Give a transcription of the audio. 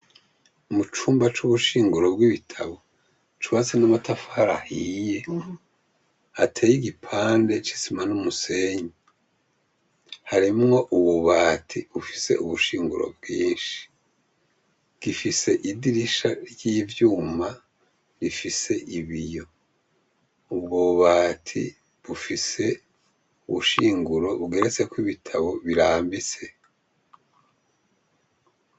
Mucumba c’ubushinguro bw’ibitabo, cubatse n’amatafari ahiye ateye igipande c’isima n’umusenyi, harimwo ububati bufise ubushinguro bwinshi, gifise idirisha ry’ivyuma rifise ibiyo. Ubwo bubati bufise ubushinguro bugeretseko ibitabo birambitse.